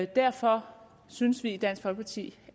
derfor synes vi i dansk folkeparti